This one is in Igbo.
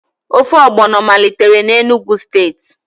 Ofe ogbọno malitere na Enugu steeti